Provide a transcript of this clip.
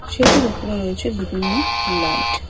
সেতুর ওপরে রয়েছে বিভিন্ন লাইট ।